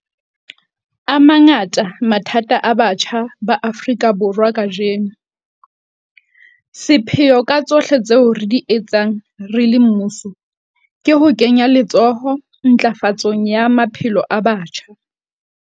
A mangata mathata a batjha ba Afrika Borwa kajeno. Sepheo ka tsohle tseo re di etsang re le mmuso ke ho kenya letsoho ntlafatsong ya maphelo a batjha.